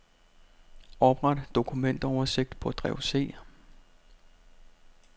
Opret dokumentoversigt på drev C.